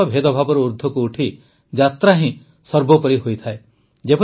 ସମସ୍ତ ଭେଦଭାବରୁ ଊର୍ଦ୍ଧ୍ବକୁ ଉଠି ଯାତ୍ରା ହିଁ ସର୍ବୋପରି ହୋଇଥାଏ